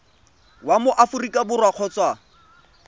wa mo aforika borwa kgotsa